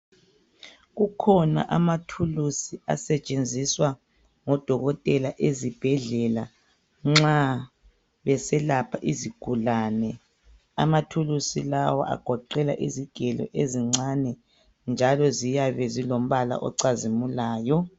Kukhona amathulusi asetshenziswa ngodokotela ezibhedlela nxa beselapha izigulane amathulusi lawo agoqela izigelo ezincane njalo ziyabe zilombala ocazimulayo